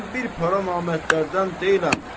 Mən bir para namərdlərdən deyiləm.